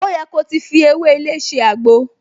O yẹ ko ti fi ewé ilé ṣe àgbo!